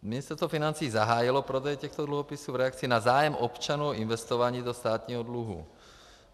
Ministerstvo financí zahájilo prodej těchto dluhopisů v reakci na zájem občanů o investování do státního dluhu.